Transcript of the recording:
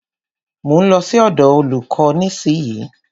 Mo ń lọ sí ọ̀dọ̀ olúkò nísìyí.